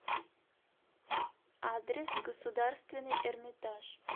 адрес государственный эрмитаж